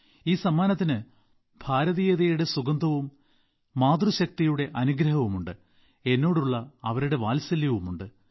ഈ സമ്മാനത്തിന് ഭാരതീയതയുടെ സുഗന്ധവും മാതൃശക്തിയുടെ അനുഗ്രഹവുമുണ്ട് എന്നോടുള്ള അവരുടെ വാത്സല്യമുണ്ട്